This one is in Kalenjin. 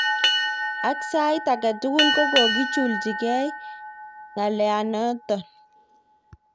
Ik sait aketugul gokogojuljigei ik ngalot notok.